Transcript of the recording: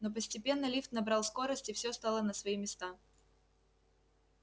но постепенно лифт набрал скорость и всё стало на свои места